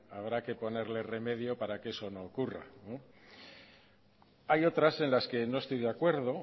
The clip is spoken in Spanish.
habrá que ponerle remedio para que eso no ocurra hay otras en las que no estoy de acuerdo